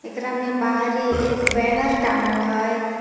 एकरा में बाहरें एक बैनर टांगल हइ।